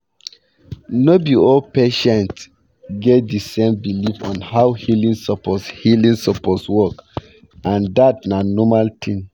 no be all patients get di same belief on how healing suppose healing suppose work and dat na normal thing